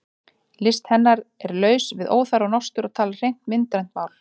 List hennar er laus við óþarfa nostur og talar hreint myndrænt mál.